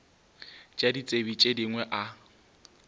tša ditsebi tše dingwe a